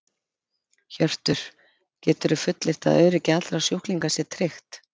Hjörtur: Geturðu fullyrt að öryggi allra sjúklinga sé tryggt?